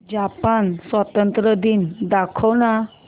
Japan स्वातंत्र्य दिवस दाखव ना